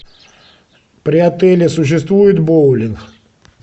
при отеле существует боулинг